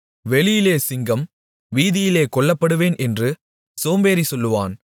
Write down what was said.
வெளியிலே சிங்கம் வீதியிலே கொல்லப்படுவேன் என்று சோம்பேறி சொல்லுவான்